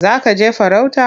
Za ka je farauta?